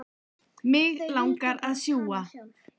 Mig langar að sjúga.